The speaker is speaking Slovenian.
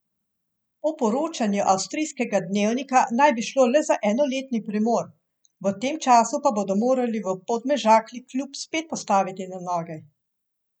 Po poročanju avstrijskega dnevnika naj bi šlo le za enoletni premor, v tem času pa bodo morali v Podmežakli klub spet postaviti na noge.